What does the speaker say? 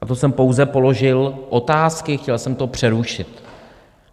A to jsem pouze položil otázky, chtěl jsem to přerušit.